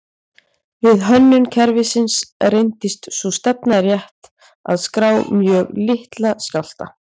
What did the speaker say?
Við hönnun kerfisins reyndist sú stefna rétt að skrá mjög litla skjálfta.